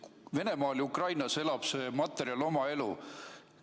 Venemaal ja Ukrainas elab see materjal oma elu.